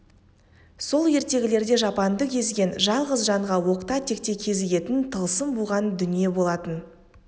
сол ертегілерде жапанды кезген жалғыз жанға оқта-текте кезігетін тылсым буған дүние болатын